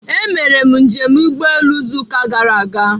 Emere m njem ụgbọelu izu ụka gara aga.